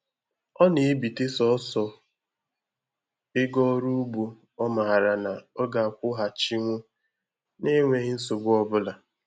Ọ na-ebite sọsọ ego ọrụ ugbo ọ mara na ọ ga-akwụghachinwu na enweghi nsogbu ọbụla